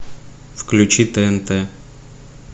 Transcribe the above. включи тнт